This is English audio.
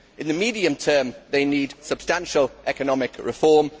In the medium term they need substantial economic reform